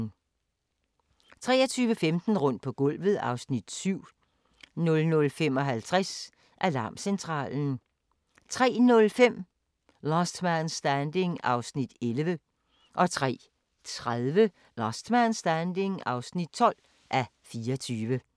23:15: Rundt på gulvet (Afs. 7) 00:55: Alarmcentralen 03:05: Last Man Standing (11:24) 03:30: Last Man Standing (12:24)